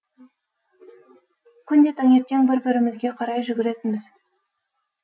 күнде таңертең бір бірімізге қарай жүгіретінбіз